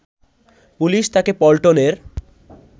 police তাকে পল্টনের